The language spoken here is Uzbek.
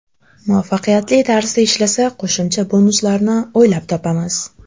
Muvaffaqiyatli tarzda ishlasa, qo‘shimcha bonuslarni o‘ylab topamiz”.